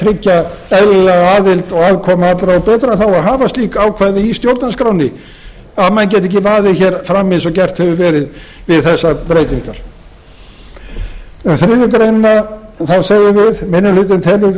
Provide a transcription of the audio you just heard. tryggja eðlilega aðild og aðkomu allra og betra þá að hafa slíkt ákvæði í stjórnarskránni að menn geti ekki vaðið hér fram eins og gert hefur verið við þessar breytingar um þriðju grein segjum við minni hlutinn telur mikið